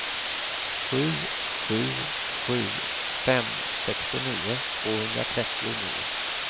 sju sju sju fem sextionio tvåhundratrettionio